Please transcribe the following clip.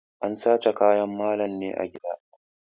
An sace kayan malam ne a gida.